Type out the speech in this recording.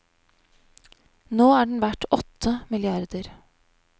Nå er den verd åtte milliarder.